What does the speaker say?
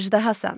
Əjdahasan.